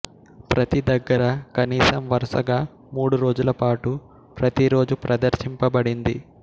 ప్రతి దగ్గర కనీసం వరుసగా మూడు రోజులపాటు ప్రతిరోజూ ప్రదర్శించబడింది